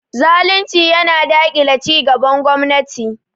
Zalunci yana yana daƙile cigaban gwamnati.